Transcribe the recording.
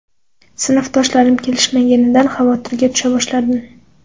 Sinfdoshlarim kelishmaganidan xavotirga tusha boshladim.